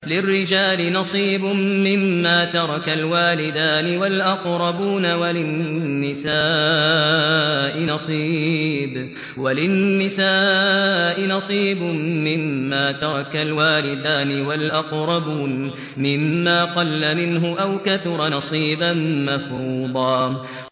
لِّلرِّجَالِ نَصِيبٌ مِّمَّا تَرَكَ الْوَالِدَانِ وَالْأَقْرَبُونَ وَلِلنِّسَاءِ نَصِيبٌ مِّمَّا تَرَكَ الْوَالِدَانِ وَالْأَقْرَبُونَ مِمَّا قَلَّ مِنْهُ أَوْ كَثُرَ ۚ نَصِيبًا مَّفْرُوضًا